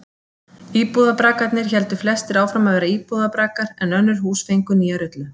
Íbúðarbraggarnir héldu flestir áfram að vera íbúðarbraggar en önnur hús fengu nýja rullu.